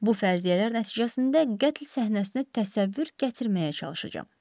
Bu fərziyyələr nəticəsində qətl səhnəsini təsəvvür gətirməyə çalışacam.